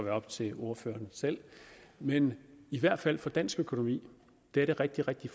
op til ordføreren selv men i hvert fald for dansk økonomi er det rigtig rigtig